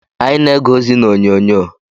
Anyị na-ege ozi n'onyonyo.